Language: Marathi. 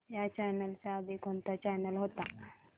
ह्या चॅनल च्या आधी कोणता चॅनल होता